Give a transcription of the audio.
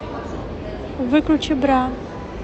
выключи бра